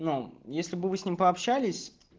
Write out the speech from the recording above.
если бы вы с ним пообщались